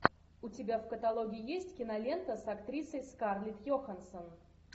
у тебя в каталоге есть кинолента с актрисой скарлетт йоханссон